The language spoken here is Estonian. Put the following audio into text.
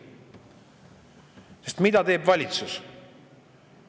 Sest mida teeb valitsus?